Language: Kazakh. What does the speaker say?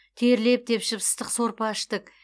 терлеп тепшіп ыстық сорпа іштік